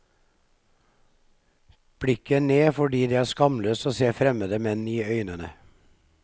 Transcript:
Blikket ned fordi det er skamløst å se fremmede menn i øynene.